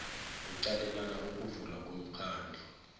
kuqalelela ukuvulwa komkhandlu